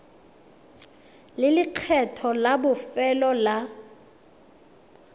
le lekgetho la bofelo la